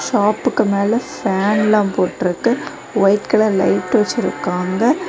ஷாப்புக்கு மேல ஃபேனல்ல போட்ருக்கு ஒயிட் கலர் லைட் வச்சிருக்காங்க.